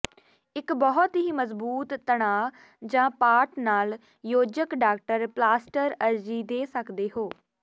ਇੱਕ ਬਹੁਤ ਹੀ ਮਜ਼ਬੂਤ ਤਣਾਅ ਜ ਪਾਟ ਨਾਲ ਯੋਜਕ ਡਾਕਟਰ ਪਲਾਸਟਰ ਅਰਜ਼ੀ ਦੇ ਸਕਦੇ ਹੋ